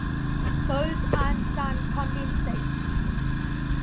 bose einstein condensate